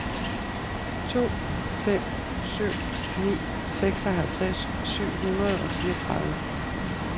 to fem syv ni seksoghalvtreds syv hundrede og fireogtredive